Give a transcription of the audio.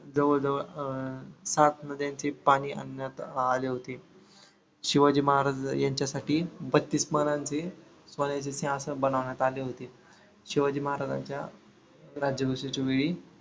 जवळ जवळ अं सात नद्यांचे पाणी आणण्यात आले होते. शिवाजी महाराज यांच्यासाठी बत्तीस आसन बनवण्यात आले होते. शिवाजी महाराजांच्या राज्याभिषेकच्या वेळी